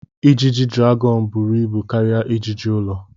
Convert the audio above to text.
Ijiji dragọn buru ibu karịa ijiji ụlọ.